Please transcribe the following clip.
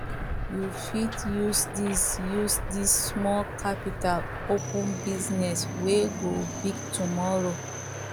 you fit use dis use dis small capital open business wey go big tomorrow